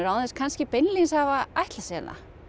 án þess kannski beinlínis að hafa ætlað sér það